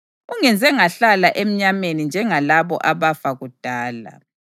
Ungenze ngahlala emnyameni njengalabo abafa kudala.